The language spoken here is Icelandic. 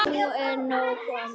Nú er nóg komið.